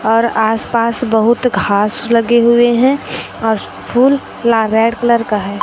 और आसपास बहुत घास लगे हुए हैं और फूल फूला रेड कलर का है।